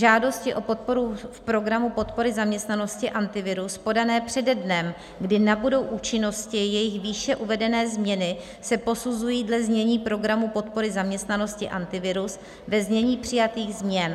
Žádosti o podporu v Programu podpory zaměstnanosti Antivirus podané přede dnem, kdy nabudou účinnosti jejich výše uvedené změny, se posuzují dle znění Programu podpory zaměstnanosti Antivirus ve znění přijatých změn.